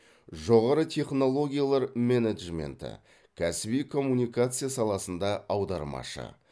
жоғары технологиялар менеджменті кәсіби коммуникация саласында аудармашы